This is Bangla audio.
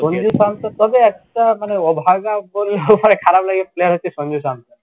সঞ্জিব শান্তনু তবে একটা মানে অভাগা বললেও পরে খারাপ লাগে player হচ্ছে সঞ্জিব শান্তনু